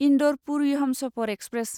Indore Puri Humsafar express